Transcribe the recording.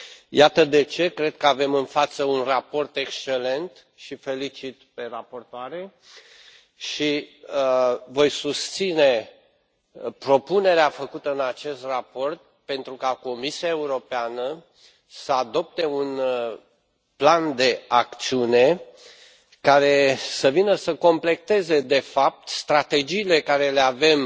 Iată de ce cred că avem în față un raport excelent și o felicit pe raportoare și voi susține propunerea făcută în acest raport pentru ca Comisia Europeană să adopte un plan de acțiune care să vină să completeze de fapt strategiile pe care le avem